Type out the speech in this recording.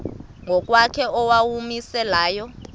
ngokwakhe owawumise layo